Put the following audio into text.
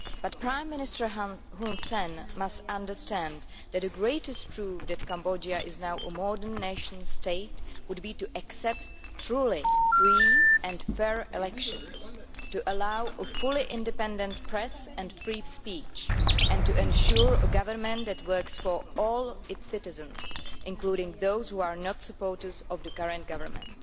But Prime Minister Hun Sen must understand that the greatest proof that Cambodia is now a modern nation state would be to accept truly free and fair elections, to allow a fully independent press and free speech, and to ensure a government that works for all its citizens, including those who are not supporters of the current government.